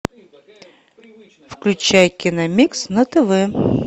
включай кино микс на тв